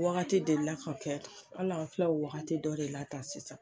Wagati delila ka kɛ hali an filɛ o wagati dɔ le la tan sisan.